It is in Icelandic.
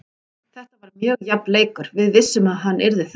Þetta var mjög jafn leikur, við vissum að hann yrði það.